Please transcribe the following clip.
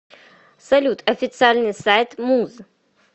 салют официальный сайт муз